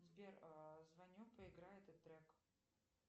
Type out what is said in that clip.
сбер звоню поиграй этот трек